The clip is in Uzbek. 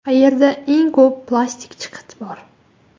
Qayerda eng ko‘p plastik chiqit bor?